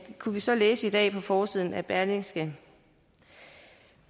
kunne vi så læse i dag på forsiden af berlingske